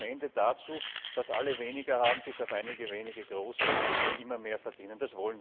Das führt am Ende dazu, dass alle weniger haben bis auf einige wenige Große, die immer mehr verdienen.